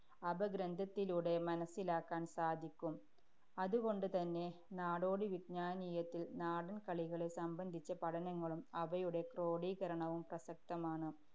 അപഗ്രന്ഥത്തിലൂടെ മനസ്സിലാക്കാന്‍ സാധിക്കും. അതുകൊണ്ടുതന്നെ നാടോടി വിജ്ഞാനീയത്തില്‍ നാടന്‍കളികളെ സംബന്ധിച്ച പഠനങ്ങളും അവയുടെ ക്രോഡീകരണവും പ്രസക്തമാണ്.